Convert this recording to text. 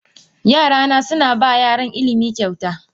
Yarana suna ba yaran ilimi kyauta.